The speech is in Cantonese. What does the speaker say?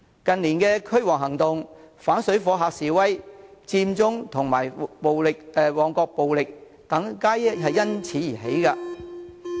近年的"驅蝗行動"、反水貨客示威、佔中及旺角暴動等皆因此而起。